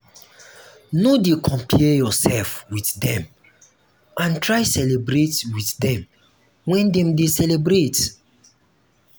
no de compare yourself with dem and try celebrate with dem when dem de celebrate